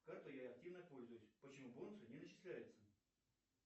картой я активно пользуюсь почему бонусы не начисляются